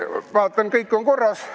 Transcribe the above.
Vaatan, kõik on korras.